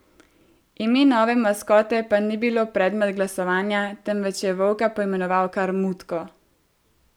Ime nove maskote pa ni bilo predmet glasovanja, temveč je volka poimenoval kar Mutko.